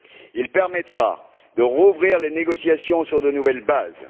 Il permettra de rouvrir les négociations sur de nouvelles bases.